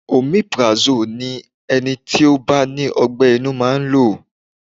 Omeprazole ni ẹni tí ó bá ní ọ gbé inú máa ń lò.